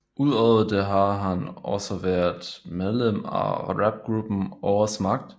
Udover det har han også været medlem af rapgruppen Ordets Magt